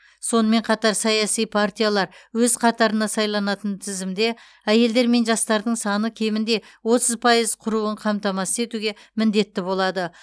сонымен қатар саяси партиялар өз қатарына сайланатын тізімде әйелдер мен жастардың саны кемінде отыз пайыз құруын қамтамасыз етуге міндетті болады